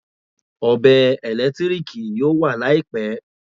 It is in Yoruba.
Ọ̀bẹ ẹ̀lẹ́tíríkì yóò wà Láìpẹ́